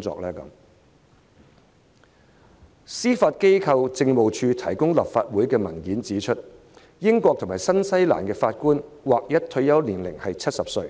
根據司法機構政務處向立法會提供的文件，英國和新西蘭法官的劃一退休年齡是70歲；